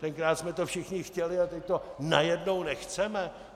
Tenkrát jsme to všichni chtěli a teď to najednou nechceme?!